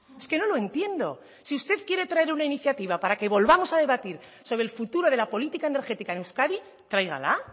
es que no lo entiendo si usted quiere traer una iniciativa para que volvamos a debatir sobre el futuro de la política energética en euskadi tráigala